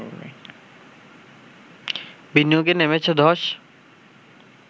বিনিয়োগে নেমেছে ধস